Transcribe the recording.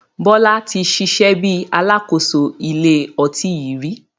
Bọlá tí ṣiṣẹ́ bí Alákóso ilé ọtí yìí rí.